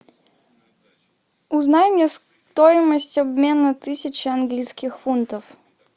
узнай мне стоимость обмена тысячи английских фунтов